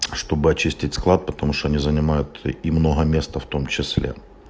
чтобы очистить склад потому что они занимают немного места в том числе